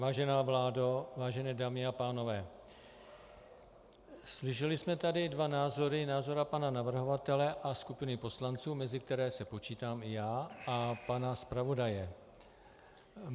Vážená vládo, vážené dámy a pánové, slyšeli jsme tady dva názory - názor pana navrhovatele a skupiny poslanců, mezi které se počítám i já, a pana zpravodaje.